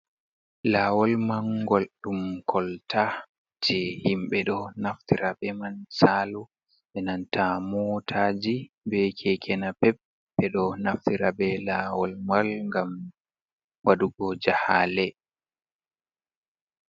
Lawol man gol ɗum kolta je himɓɓe ɗo naftira be man salu benanta motaji, be kekena pep ɓe ɗo naftira be lawol mal gam waɗugo jahale.